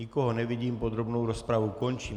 Nikoho nevidím, podrobnou rozpravu končím.